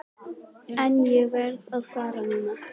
En ég verð að fara núna.